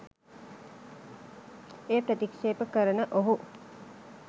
එය ප්‍රතික්ෂේප කරන ඔහු